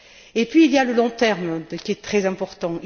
Et puis il y a le long terme, qui est très important.